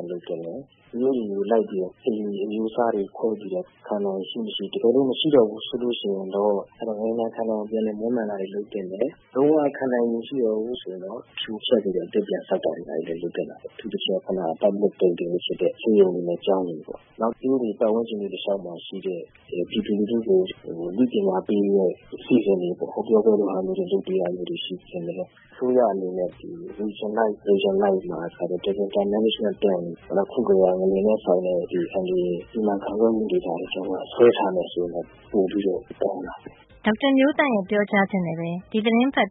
ပ်သင့် တယ်။ မြို့တွေကိုလိုက်ပြီးတော့ အိမ်အမျိုးအစားတွေ ခွဲပြီးတော့ ခံနိုင်ရည်ရှိမရှိ၊ တကယ်လို့ မရှိတော့ဘူး ဆိုလို့ရှိရင်တော့ ငလျင်ဒဏ်ခံနိုင်အောင် ပြန်လည် မွမ်းမံတာတွ လုပ်သင့်တယ်။ လုံးဝ ခံနိုင်ရည်မရှိတော့ဘူးဆိုရင်တော့ ဖြိုဖျက်ပြီးတော့ အသစ်ပြန်ဆောက်တာတွေ လုပ်သင့်တာပေါ့။ အထူးသဖြင့် ခုနက public building ဖြစ်တဲ့ ဆေးရုံတွေနဲ့ ကျောင်းတွေပေါ့။ နောက် မြို့တွေ၊ ပတ်ဝန်းကျင်တွေ တလျှောက်မှာ ရှိတဲ့ ပြည်သူလူထုကို အသိပညာပေးတဲ့ အစီအစဉ်တွေပေါ့ - ဟောပြောပွဲလို ဟာမျိုးတွေ လုပ်ပေးတာမျိုးတွေ ရှိသင့်တယ်။ အစိုးရအနေနဲ့ ဒေသအလိုက် Disaster management plan - အခုကတည်းက ငလျင်နဲ့ဆိုင်တဲ့အန္တရာယ် စီမံခန့်ခွဲမှုတွေကို ဆွဲထားမယ် ဆိုရင်တော့ ပိုပြီးတော့ ကောင်းတာပေါ့။ ဒေါက်တာမျိုးသန့်ရဲ့ ပြောကြားချက်နဲ့ပဲ ဒီသီတင်းပတ်